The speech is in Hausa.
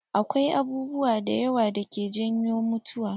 Akwai abubuwa da yawa dake janyo mutuwa.